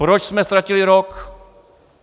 Proč jsme ztratili rok?